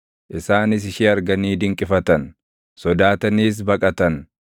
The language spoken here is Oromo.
Isaanis ishee arganii dinqifatan; sodaataniis baqatan.